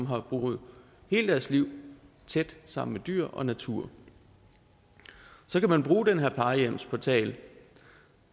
har boet hele deres liv tæt sammen med dyr og natur så kan man bruge den her plejehjemsportal